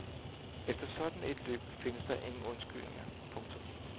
Efter sådan et løb findes der ingen undskyldninger. punktum